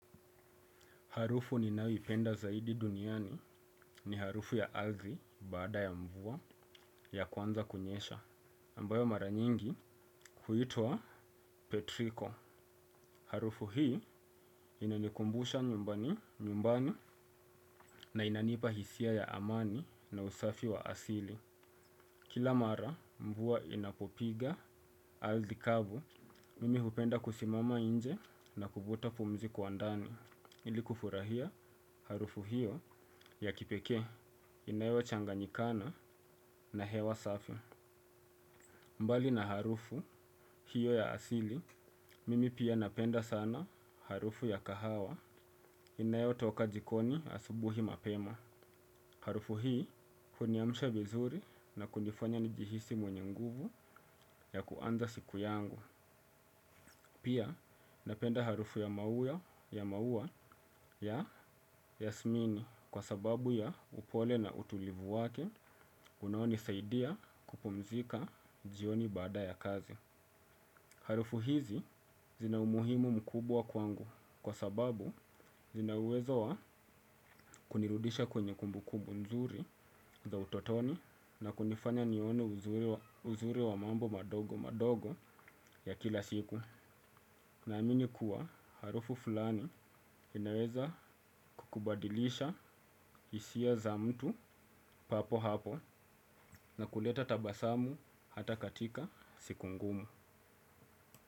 Harufu ninayoipenda zaidi duniani ni harufu ya ardhi baada ya mvua ya kwanza kunyesha, ambayo mara nyingi huitwa Petrico. Harufu hii inanikumbusha nyumbani na inanipa hisia ya amani na usafi wa asili. Kila mara mvua inapopiga ardhi kavu, mimi hupenda kusimama nje na kuvuta pumzi kwa ndani. Ili kufurahia harufu hiyo ya kipekee inayo changa nyikana na hewa safi bali na harufu hiyo ya asili, mimi pia napenda sana harufu ya kahawa inayo toka jikoni asubuhi mapema. Harufu hii huniamsha vizuri na kunifanya nijihisi mwenye nguvu ya kuanza siku yangu. Pia napenda harufu ya maua ya Yasmini kwa sababu ya upole na utulivu wake unaoni saidia kupumzika jioni baada ya kazi. Harufu hizi zina umuhimu mkubwa kwangu kwa sababu zina uwezo wa kunirudisha kwenye kumbu kumbu nzuri za utotoni na kunifanya nione uzuri wa mambo madogo madogo ya kila siku. Naamini kuwa harufu fulani inaweza kukubadilisha hisia za mtu papo hapo na kuleta tabasamu hata katika siku ngumu.